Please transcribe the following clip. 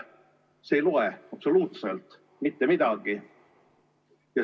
See ei loe absoluutselt mitte midagi.